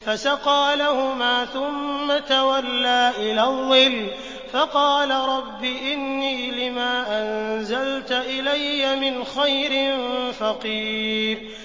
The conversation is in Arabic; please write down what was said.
فَسَقَىٰ لَهُمَا ثُمَّ تَوَلَّىٰ إِلَى الظِّلِّ فَقَالَ رَبِّ إِنِّي لِمَا أَنزَلْتَ إِلَيَّ مِنْ خَيْرٍ فَقِيرٌ